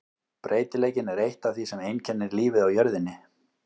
Breytileikinn er eitt af því sem einkennir lífið á jörðinni.